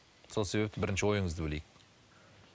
сол себепті бірінші ойыңызды білейік